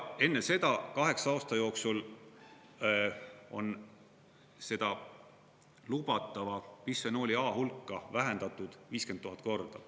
Enne seda kaheksa aasta jooksul on seda lubatava bisfenool A hulka vähendatud 50 000 korda.